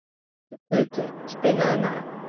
Þorgautur, spilaðu lag.